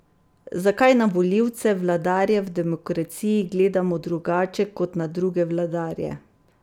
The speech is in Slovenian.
Zakaj na volivce, vladarje v demokraciji, gledamo drugače kot na druge vladarje?